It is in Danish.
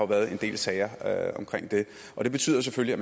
været en del sager omkring det og det betyder selvfølgelig